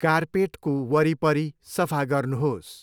कार्पेटको वरिपरि सफा गर्नुहोस्